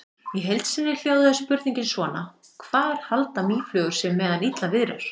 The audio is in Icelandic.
Í heild sinni hljóðaði spurningin svona: Hvar halda mýflugur sig meðan illa viðrar?